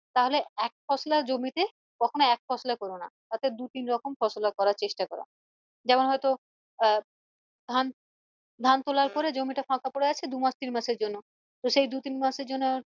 তাহলে এক ফসলা জমিতে কখনো এক ফসলা করো না তাতে দু তিন রকম ফসলা করার চেষ্টা করো যেমন হয়ত আহ ধান ধান তোলার পরে জমিটা ফাকা পরে আছে দু মাস তিন মাসের জন্য তো সেই দু তিন মাসের জন্য